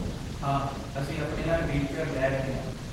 ਹਾਂ, ਅਸੀਂ ਆਪਣੇ ਨਾਲ ਵ੍ਹੀਲਚੇਅਰ ਲੈ ਰਹੇ ਹਾਂ।